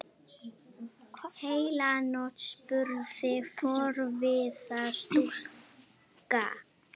Heila nótt? spurði forviða stúlka.